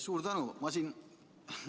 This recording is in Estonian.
Suur tänu!